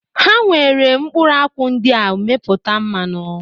Ha nwere mkpụrụakwụ ndị a mepụta mmanụ